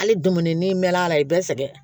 Hali dumuni n'i mɛnna a la ayi bɛ sɛgɛn